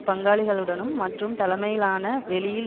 பங்காளிகளுடனும் மற்றும் தலைமையிலான வெளியில்